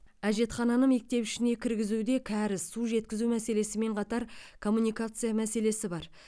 әжетхананы мектеп ішіне кіргізуде кәріз су жеткізу мәселесімен қатар коммуникация мәселесі бар